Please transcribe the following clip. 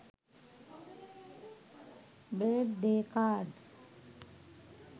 birth day cards